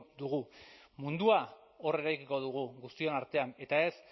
dugu mundua hor eraikiko dugu guztion artean eta ez